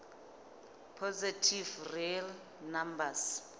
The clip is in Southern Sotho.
positive real numbers